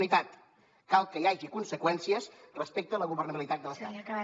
unitat cal que hi hagi conseqüències respecte a la governabilitat de l’estat